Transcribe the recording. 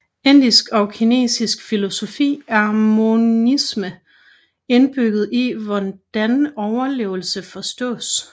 I indisk og kinesisk filosofi er monisme indbygget i hvordan oplevelse forstås